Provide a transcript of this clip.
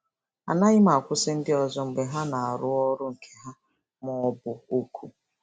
Anaghị m akwụsị ndị ọzọ mgbe ha na-arụ ọrụ nke ha ma ọ bụ oku.